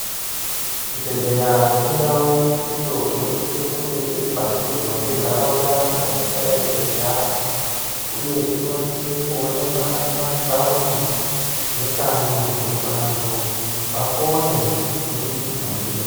Chibhedhleya indau iyo inosise kunge iri padhuze ngentaraunda dzatingadai teigara, uye inosise kuonekwa mumataundi nekanyi kuti vantu vapone kubudikidza ndiyo.